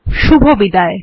শুভবিদায়